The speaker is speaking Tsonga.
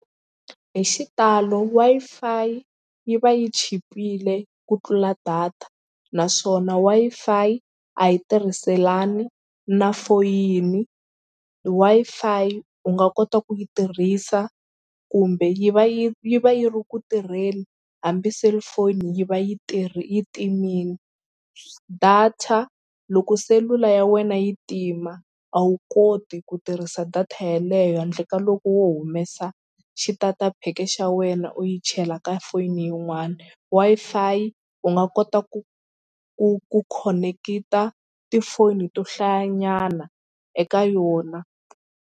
Hi xitalo Wi-Fi yi va yi chipile ku tlula data naswona Wi-Fi a yi tirhiselani na foyini. Wi-Fi u nga kota ku yi tirhisa kumbe yi va yi yi va yi ri ku tirheni hambi cellphone yi va yi yi timile data loko selula ya wena yi tima a wu koti ku tirhisa data yeleyo handle ka loko wo humesa xi-tater pack xa wena u yi chela ka foni yin'wana Wi-Fi u nga kota ku ku ku khonekita tifoni to hlaya nyana eka yona.